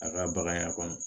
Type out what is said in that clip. A ka bagan ya kɔnɔ